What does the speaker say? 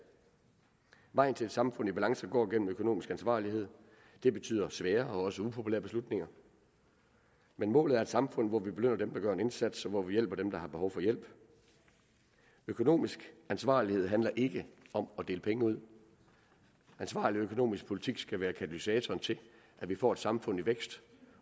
vejen til et samfund i balance går gennem økonomisk ansvarlighed det betyder svære og også upopulære beslutninger men målet er et samfund hvor vi belønner dem der gør en indsats og hvor vi hjælper dem der har behov for hjælp økonomisk ansvarlighed handler ikke om at dele penge ud ansvarlig økonomisk politik skal være katalysatoren til at vi får et samfund i vækst